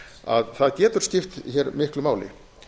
að það getur skipt hér miklu máli